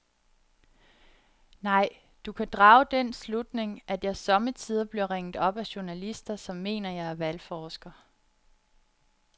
Nej, du kan drage den slutning, at jeg sommetider bliver ringet op af journalister, som mener, at jeg er valgforsker.